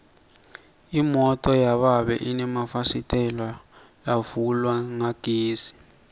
imoto yababe inemafasitela lavulwa ngagesi